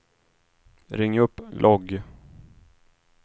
ring upp logg